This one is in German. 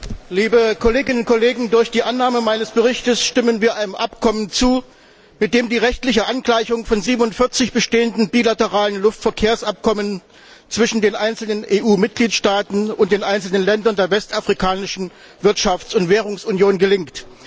Herr Präsident, liebe Kolleginnen und Kollegen! Durch die Annahme meines Berichts stimmen wir einem Abkommen zu, mit dem die rechtliche Angleichung von 47 bestehenden bilateralen Luftverkehrsabkommen zwischen den einzelnen EU Mitgliedstaaten und den einzelnen Ländern der westafrikanischen Wirtschafts und Währungsunion gelingt.